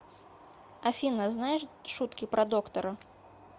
афина знаешь шутки про доктора